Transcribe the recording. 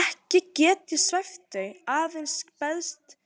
Ekki get ég svæft þau, aðeins beðist